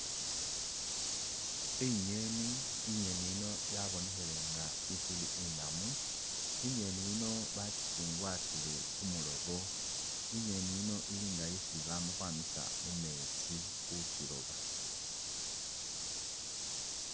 I'ngeni nga i'ngeni yiino yabonekhile nga isi inamu i'ngeni yiino bakichugwatsile khumulobo i'ngeni yiino ili nga isi bamakhwamisa mumetsi khukyiloba